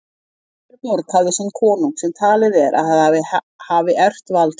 Hver borg hafði sinn konung sem talið er að hafi erft vald sitt.